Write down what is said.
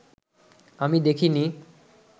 আমি দেখিনি